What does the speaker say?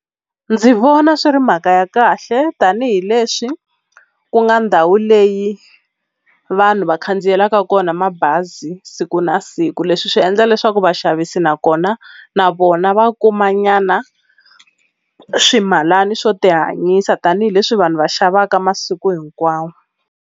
Ndzi vona swi ri mhaka ya kahle tanihileswi ku nga ndhawu leyi vanhu va khandziyelaka kona mabazi siku na siku leswi swi endla leswaku vaxavisi nakona na vona va kuma nyana swimalana swo ti hanyisa tanihileswi vanhu va xavaka masiku hinkwawo.